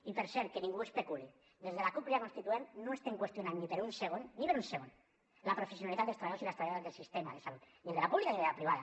i per cert que ningú especuli des de la cup crida constituent no estem qüestionant ni per un segon ni per un segon la professionalitat dels treballadors i les treballadores del sistema de salut ni de la pública ni de la privada